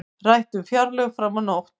Rætt um fjárlög fram á nótt